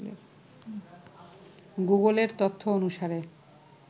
গুগলের তথ্য অনুসারে